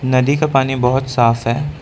नदी का पानी बहुत साफ है।